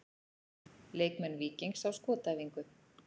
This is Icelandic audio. Leikmenn Víkings á skotæfingu.